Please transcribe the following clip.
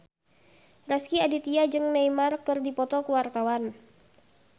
Rezky Aditya jeung Neymar keur dipoto ku wartawan